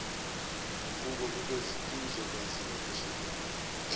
guquko luzokwenziwa kusekelwa